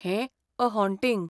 हें ' a haunting'.